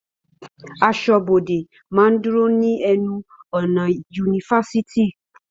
Aṣọ́bọdè máa ń dúró ní ẹnu ọ̀nà ifásitì